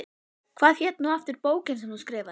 Hvað hét nú aftur bókin sem þú skrifaðir?